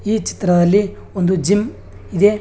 ಈ ಚಿತ್ರದಲ್ಲಿ ಒಂದು ಜಿಮ್ ಇದೆ.